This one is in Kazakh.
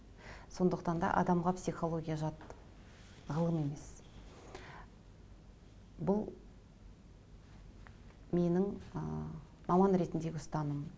сондықтан да адамға психология жат ғылым емес бұл менің ы маман ретіндегі ұстанымым